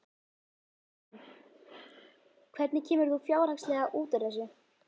Jóhann: Hvernig kemur þú fjárhagslega út úr þessu?